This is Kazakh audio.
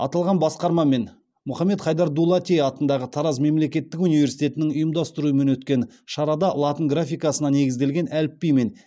аталған басқарма мен мұхаммед хайдар дулати атындағы тараз мемлекеттік университетінің ұйымдастыруымен өткен шарада латын графикасына негізделген әліпби мен